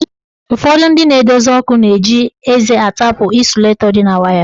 Ụfọdụ ndị na-edozi ọkụ na-eji eze atapụ ịsulatọ dị na waya.